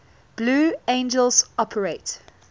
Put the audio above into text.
blue angels operate